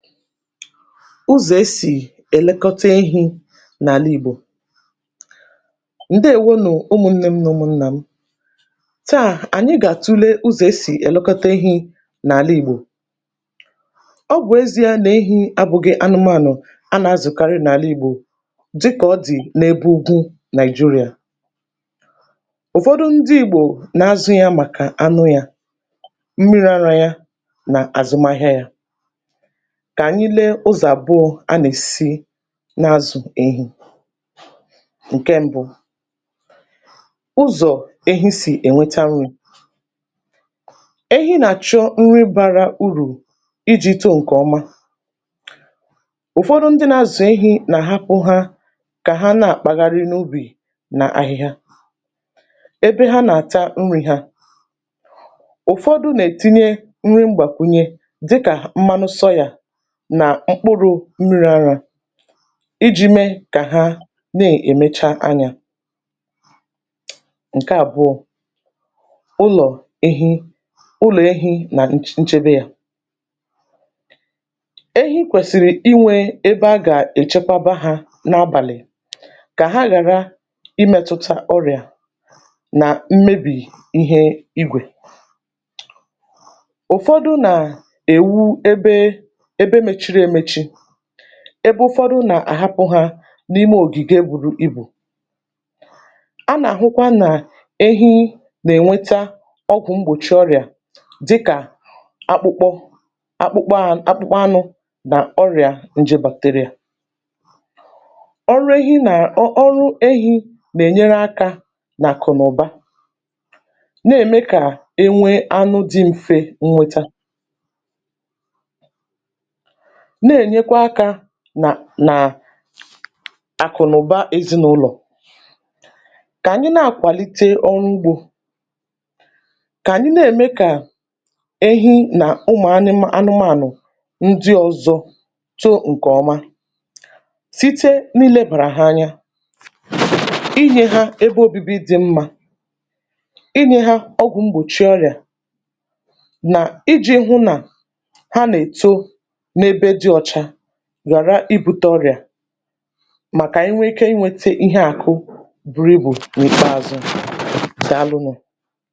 ụzọ̀ esì èlekota ehī n’àla ìgbò ǹdeèwo nù ụmụ̀nnēm nà ụmụ̀nnàm taà ànyị gà-àtule ụzọ̀ esì èlekọta ehī n’àla ìgbò ọ bụ̀ ezīa nà ehī abụ̄gi̇ anụmànụ̀ a nà-azụ̀karị n’àla Ìgbò dịkà ọ dị̀ n’ebe ugwu Nigeria ụ̀fọdụ ndị Ìgbò nà-azụ̄ ya màkà anụ yā mmirī arā ya nà àzụmahịa yā kà ànyị lee ụzọ̀ àbụọ̄ a nà-èsi na-azụ̀ ehī ǹke mbụ ụzọ̀ ehi sì ènweta nwā ehi nà-àchụ nri gbara urù ijī to ǹkè ọma ụ̀fọdụ ndị na-azụ̀ ehī nà-àhapụ̄ há kà ha na-àkpagharị n’ubì nà ahịhịa ebe ha nà-àta nrī ha ụ̀fọdụ nà-etinye nri mgbàkwunye dịkà mmanụ soyà nà mkpụrụ mmirī arā ijī mee kà ha na-èmecha anyā ǹke àbụọ̄ ụlọ̀ ehi ụlọ̀ ehī nà nch nchebe yā ehi kwèsìrì inwē ebe a gà-èchekwaba hā n’abàlị̀ kà ha ghàra imētụta ọrị̀à nà mmebè ihe igwè ụ̀fọdụ nà-èwu ebe, ebe mechiri emechi ebe ụfọdụ nà-àhapụ̄ ha n’ime ògìge buru ibù a nà-àhụkwa nà ehi nà-ènweta ọgwụ̀ mgbòchi ọrị̀à dịkà akpụkpọ akpụkpọā kpụkpọ anụ̄ nà ọrị̀à nje bacteria ọrụ ehi nà ọ ọrụ ehī nà-ènyere akā n’àkụ̀ nà ụ̀ba nà-ème kà enwee anụ dị mfe nweta na-ènyekwa aka nà nà àkụ̀nàụ̀ba ezinàụlọ̀ kà ànyị na-akwàlite ọrụ ugbō kà àɲɪ́ nê:mé kà ehi nà ụmụ̀anịmā anụmānụ̀ ndị ọzọ to ǹkè ọma site n’irēbàrà ha anya inyē ha ebe obibi dị́ mmā inyē ha ọgwụ̀ mgbòchi ọrị̀à nà ijī hụ nà ha nà-èto n’ebe dị̄ ọcha ghàra ibūte ọrị̀à mà kà ànyị nwee ike inwēte ihe àkụ buru ibù n’ìkpeāzụ̄, dàalụ nụ̀.